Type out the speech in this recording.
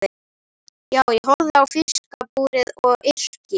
Já, ég horfi á fiskabúrið og yrki.